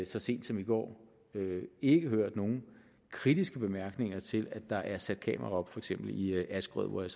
så sent som i går ikke hørt nogen kritiske bemærkninger til at der er sat kameraer op for eksempel i i askerød hvor jeg